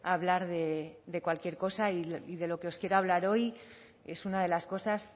hablar de cualquier cosa y de lo que os quiero hablar hoy es una de las cosas